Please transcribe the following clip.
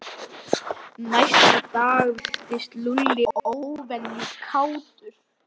Næsta dag virtist Lúlli óvenju kátur.